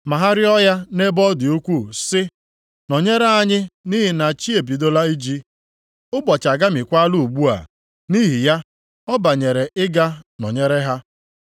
Ma ha rịọ ya nʼebe ọ dị ukwuu sị, “Nọnyerenụ anyị nʼihi na chi ebidola iji, ụbọchị agamiekwala ugbu a.” Nʼihi ya ọ banyere ịga nọnyere ha.